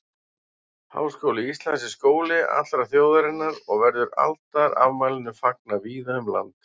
Háskóli Íslands er skóli allrar þjóðarinnar og verður aldarafmælinu fagnað víða um land.